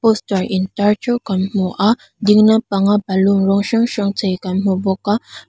poster intar ṭeuh kan hmu a dinglam panga baloon rawng hrang hrang chei kan hmu bawk a.